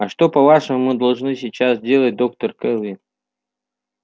а что по-вашему мы должны сейчас делать доктор кэлвин